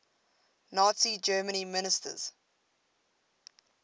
nazi germany ministers